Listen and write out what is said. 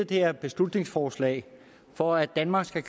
det her beslutningsforslag for at danmark skal